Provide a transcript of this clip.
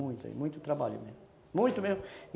Muito, muito trabalho mesmo. Muito mesmo.